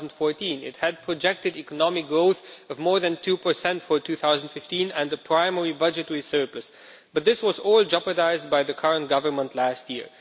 2014. It had projected economic growth of more than 2 for 2015 and the primary budgetary surplus, but this was all jeopardised by the current government last year.